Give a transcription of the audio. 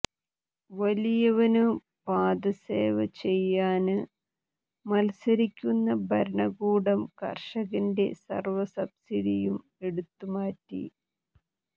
വലിയവനു പാദസേവചെയ്യാന് മത്സരിക്കുന്ന ഭരണക്കൂടം കര്ഷകന്റെ സര്വ്വ സബ്സിഡിയും എടുത്തു മാറ്റി